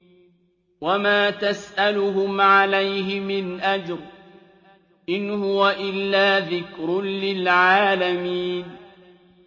وَمَا تَسْأَلُهُمْ عَلَيْهِ مِنْ أَجْرٍ ۚ إِنْ هُوَ إِلَّا ذِكْرٌ لِّلْعَالَمِينَ